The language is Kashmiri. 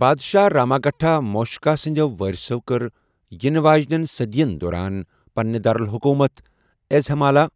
بادشاہ راماگھٹا موٗشِکا سٕنٛدیٚو وٲرِثو کٔر یِنہٕ واجِنین صٔدِین دوران پنٕنہِ دارالحُکوٗمت ایٚزہِمالا،